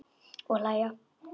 Og hlæja.